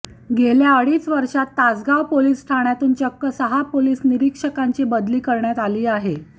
गेल्या अडीच वर्षात तासगाव पोलिस ठाण्यातून चक्क सहा पोलिस निरीक्षकांची बदली करण्यात आली आहे